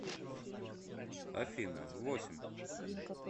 афина восемь